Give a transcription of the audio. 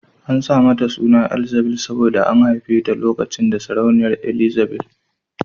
An sa mata suna Elzzabil saboda an haife ta lokacin da sarauniya Ezzabil